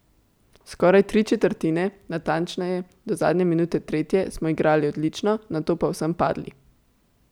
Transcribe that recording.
Skoraj tri četrtine, natančneje do zadnje minute tretje, so igrali odlično, nato pa povsem padli.